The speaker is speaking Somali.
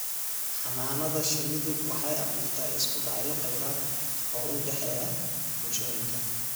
Xannaanada shinnidu waxay abuurtaa isku dhacyo kheyraad oo u dhexeeya bulshooyinka.